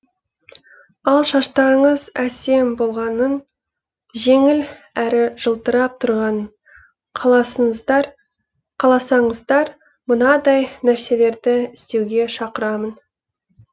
ал шаштарыңыз әсем болғанын жеңіл әрі жылтырап тұрғанын қаласаңыздар мынадай нәрселерді істеуге шақырамын